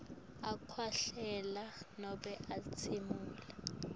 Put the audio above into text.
akhwehlela nobe atsimula